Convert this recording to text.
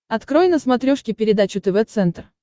открой на смотрешке передачу тв центр